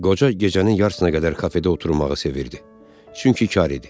Qoca gecənin yarısına qədər kafedə oturmağı sevirdi, çünki kar idi.